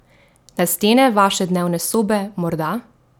Na stene vaše dnevne sobe morda?